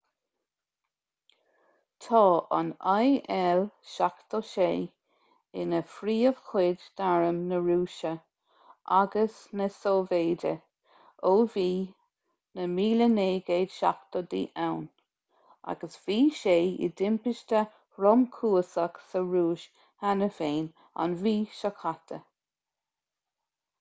tá an il-76 ina phríomhchuid d'arm na rúise agus na sóivéide ó bhí na 1970idí ann agus bhí sé i dtimpiste thromchúiseach sa rúis cheana féin an mhí seo caite